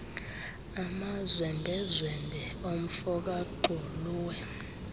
amazwembezwembe omfo kagxuluwe